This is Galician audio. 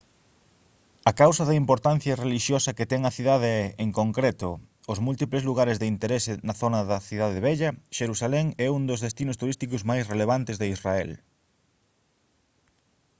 a causa da importancia relixiosa que ten a cidade e en concreto aos múltiples lugares de interese na zona da cidade vella xerusalén é un dos destinos turísticos máis relevantes de israel